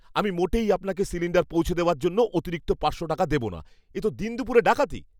আমি মোটেই আপনাকে সিলিণ্ডার পৌঁছে দেওয়ার জন্য অতিরিক্ত পাঁচশো টাকা দেব না। এ তো দিনদুপুরে ডাকাতি!